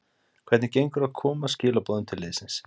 Hvernig gengur að koma skilaboðum til liðsins?